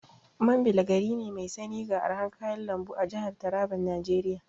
Mambila gari ne mai sanyi ga arhan kayan lambu a jahar Taraban Najeriya.